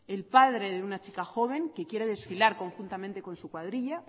el padre de una chica joven que quiere desfilar conjuntamente con su cuadrilla